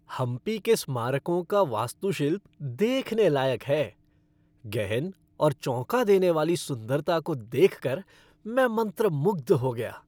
हम्पी के स्मारकों का वास्तुशिल्प देखने लायक है। गहन और चौंका देने वाली सुंदरता को देखकर मैं मंत्रमुग्ध हो गया।